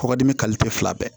Kɔkɔdimi fila bɛɛ